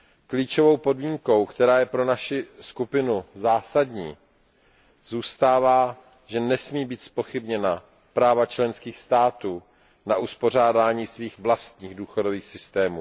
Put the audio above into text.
Klíčovou podmínkou, která je pro naši skupinu zásadní, zůstává, že nesmí být zpochybněna práva členských států na uspořádání svých vlastních důchodových systémů.